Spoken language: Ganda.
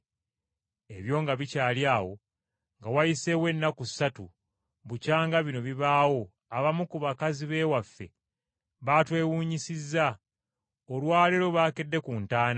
Ebyo nga bikyali awo, nga wayiseewo ennaku ssatu bukyanga bino bibaawo abamu ku bakazi b’ewaffe baatwewuunyisizza. Olwa leero baakedde ku ntaana,